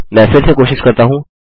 मैं फिर से कोशिश करता हूँ